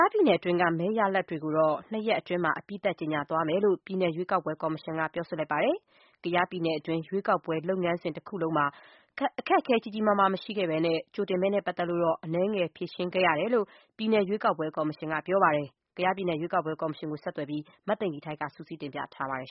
ားပြည်နယ်တွင်းက မဲရလဒ်တွေကိုတော့ ၂ ရက်အတွင်း အပြီးသတ် ကြေညာသွားမယ်လို့ ပြည်နယ်ရွေးကောက်ပွဲ ကော်မရှင်က ပြောပါတယ်။ ကယားပြည်နယ်တွင်း ရွေးကောက်ပွဲလုပ်ငန်းစဉ်တခုလုံးမှာ အခက်အခဲ ကြီးကြီးမားမားမရှိခဲ့ဘဲ ကြိုတင်မဲနဲ့ပတ်သက်လို့တော့ အနည်းငယ်ဖြေရှင်းခဲ့ရတယ်လို့လည်း ပြည်နယ် ရွေးကောက်ပွဲကော်မရှင်က ပြောပါတယ်။ ကယားပြည်နယ် ရွေးကောက်ပွဲ ကော်မရှင်ကို ဆက်သွယ်ပြီး မသိင်္ဂီထိုက်က စုစည်းတင်ပြထားပါတယ်